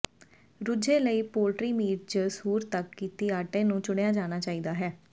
ਰੁਝੇ ਲਈ poultry meat ਜ ਸੂਰ ਤੱਕ ਕੀਤੀ ਆਟੇ ਨੂੰ ਚੁਣਿਆ ਜਾਣਾ ਚਾਹੀਦਾ ਹੈ